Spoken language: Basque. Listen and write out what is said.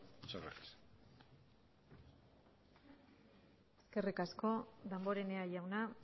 muchas gracias eskerrik asko damborenea jauna